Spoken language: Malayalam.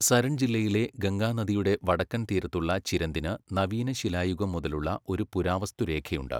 സരൺ ജില്ലയിലെ ഗംഗാ നദിയുടെ വടക്കൻ തീരത്തുള്ള ചിരന്ദിന് നവീന ശിലായുഗം മുതലുള്ള ഒരു പുരാവസ്തു രേഖയുണ്ട്.